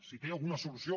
si té alguna solució